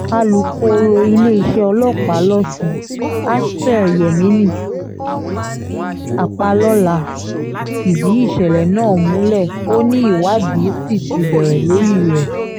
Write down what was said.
alūkọ̀rọ̀ iléeṣẹ́ ọlọ́pàá lọ́sùn aspir yemini ọpàlọ́lá fìdí ìṣẹ̀lẹ̀ náà múlẹ̀ ó ní ìwádìí sì ti bẹ̀rẹ̀ lórí rẹ̀